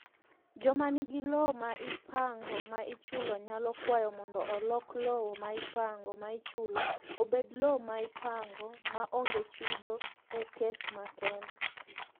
Joma nigi lowo ma ipango ma ichulo nyalo kwayo mondo olok lowo ma ipango ma ichulo obed lowo ma ipango ma onge chudo e kes makende.